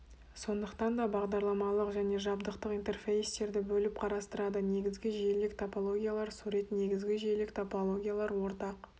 сондықтан да бағдарламалық және жабдықтық интерфейстерді бөліп қарастырады негізгі желілік топологиялар сурет негізгі желілік топологиялар ортақ